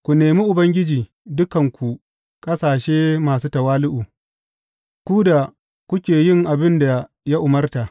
Ku nemi Ubangiji, dukanku ƙasashe masu tawali’u, ku da kuke yin abin da ya umarta.